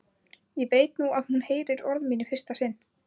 Ég veit nú að hún heyrir orð mín í fyrsta sinn.